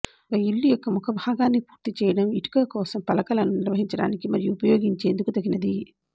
ఒక ఇల్లు యొక్క ముఖభాగాన్ని పూర్తి చేయడం ఇటుక కోసం పలకలను నిర్వహించడానికి మరియు ఉపయోగించేందుకు తగినది